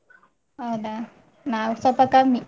ಹೌದಾ? ನಾವ್ ಸ್ವಲ್ಪ ಕಮ್ಮಿ.